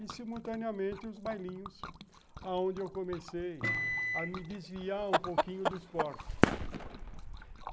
E, simultaneamente, os bailinhos, onde eu comecei a me desviar um pouquinho do esporte.